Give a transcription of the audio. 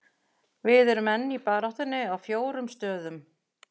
Við erum enn í baráttunni á fjórum stöðum.